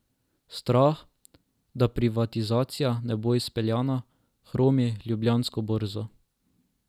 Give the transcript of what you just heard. Strah, da privatizacija ne bo izpeljana, hromi Ljubljansko borzo.